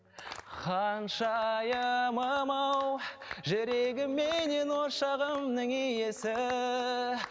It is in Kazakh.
ханшайымым ау жүрегім менен ошағымның иесі